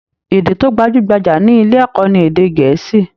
Èdè tó gbajúgbajà ní ilé ẹ̀kọ́ ní Èdè Gẹ̀ẹ́sì.